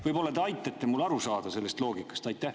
Võib‑olla te aitate mul aru saada sellest loogikast?